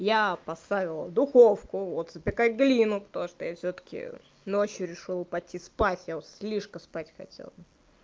я поставила в духовку вот запекать глину то что я всё-таки ночью решила пойти спать я слишком спать хотела